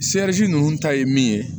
ninnu ta ye min ye